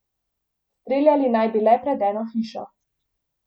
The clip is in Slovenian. Streljali naj bi le pred eno hišo.